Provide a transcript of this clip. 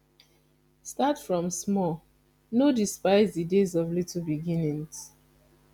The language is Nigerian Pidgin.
start from small no dispise di days of little beginnings